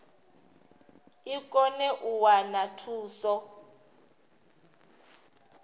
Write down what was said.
i kone u wana thuso